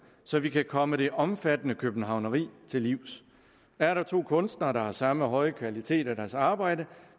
så vi kan komme det omfattende københavneri til livs er der to kunstnere der har samme høje kvalitet i deres arbejde